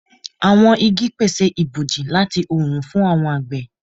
Awọn igi pese iboji lati oorun fun awọn agbe